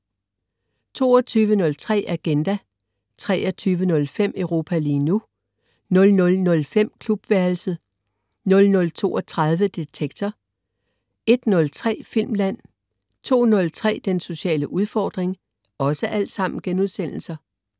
22.03 Agenda* 23.05 Europa lige nu* 00.05 Klubværelset* 00.32 Detektor* 01.03 Filmland* 02.03 Den sociale udfordring*